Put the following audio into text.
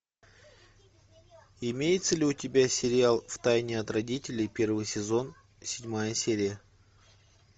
имеется ли у тебя сериал в тайне от родителей первый сезон седьмая серия